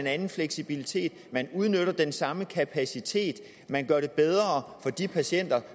anden fleksibilitet at man udnytter den samme kapacitet at man gør det bedre for de patienter